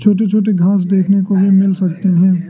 छोटी छोटी घास देखने को भी मिल सकते हैं।